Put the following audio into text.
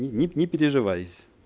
не не переживай